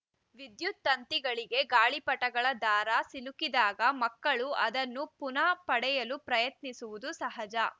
ವಿದ್ಯುತ್‌ ತಂತಿಗಳಿಗೆ ಗಾಳಿಪಟಗಳ ದಾರ ಸಿಲುಕಿದಾಗ ಮಕ್ಕಳು ಅದನ್ನು ಪುನಃ ಪಡೆಯಲು ಪ್ರಯತ್ನಿಸುವುದು ಸಹಜ